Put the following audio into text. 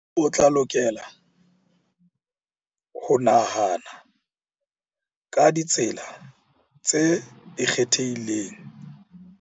O tla lokela ho nahana ka ditsela tse ikgethileng tsa ho bapatsa kgwebo ya hao.